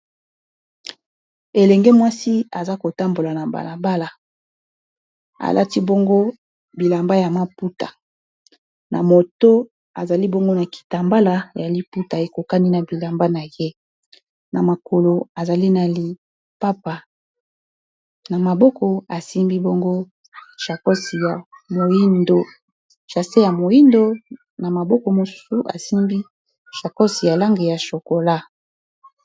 elenge mwasi aza kotambola na mbalabala alati bongo bilamba ya maputa na moto azali bongo na kitambala ya liputa ekokani na bilamba na ye olialiamako simbi angochasse ya moindo na maboko mosusu asimbi chacosi ya lange ya chokola